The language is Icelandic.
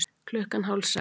Klukkan hálf sex